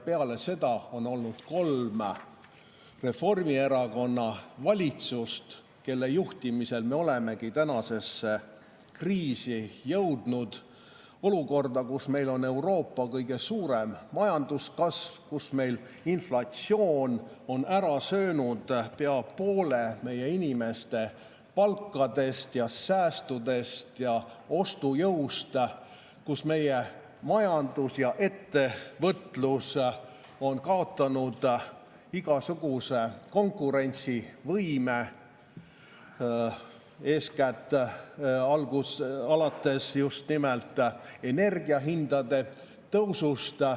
Peale seda on olnud kolm Reformierakonna valitsust, kelle juhtimisel me olemegi tänasesse kriisi jõudnud – olukorda, kus meil on Euroopa kõige suurem majandus, kus meil inflatsioon on ära söönud pea poole meie inimeste palkadest ja säästudest ja ostujõust, kus meie majandus ja ettevõtlus on kaotanud igasuguse konkurentsivõime, seda eeskätt alates just nimelt energiahindade tõusust.